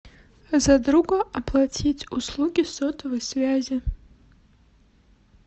за друга оплатить услуги сотовой связи